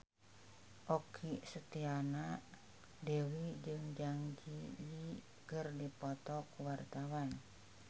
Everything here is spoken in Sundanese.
Okky Setiana Dewi jeung Zang Zi Yi keur dipoto ku wartawan